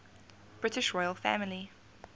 british royal family